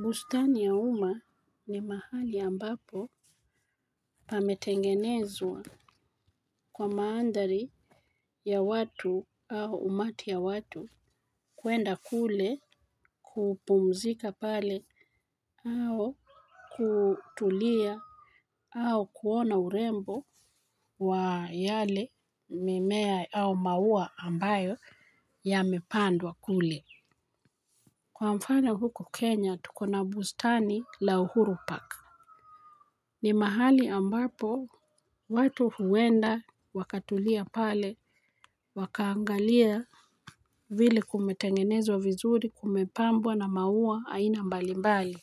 Bustani ya umma ni mahali ambapo pametengenezwa kwa mandhari ya watu au umati ya watu. Kuenda kule kupumzika pale au kutulia. Au kuona urembo wa yale mimea au maua ambayo yamepandwa kule. Kwa mfano huku Kenya tuko na bustani la Uhuru Park. Ni mahali ambapo watu huenda wakatulia pale wakaangalia vile kumetengenezwa vizuri kumepambwa na maua aina mbali mbali.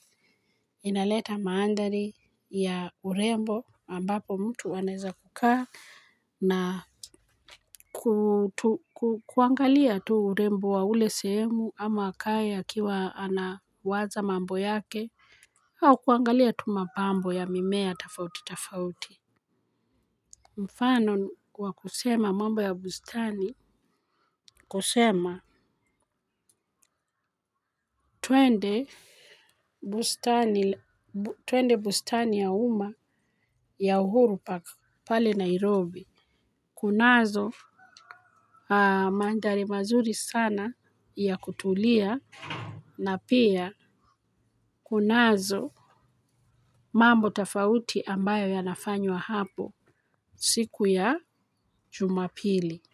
Inaleta mandhari ya urembo ambapo mtu anaeza kukaa na kuangalia tu urembo wa ule sehemu ama kaya kiwa anawaza mambo yake au kuangalia tu mapambo ya mimea tofauti tofauti. Mfano wa kusema mambo ya bustani kusema. Twende bustani ya umma ya uhuru pale Nairobi. Kunazo mandhari mazuri sana ya kutulia na pia kunazo mambo tofauti ambayo yanafanywa hapo siku ya jumapili. Kwa hivyo.